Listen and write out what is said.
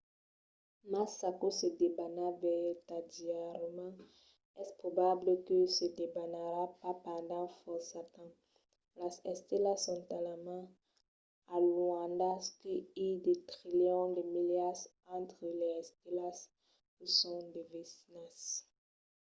mas s'aquò se debana vertadièrament es probable que se debanarà pas pendent fòrça temps. las estelas son talament alunhadas que i de trilions de milas entre las estelas que son de vesinas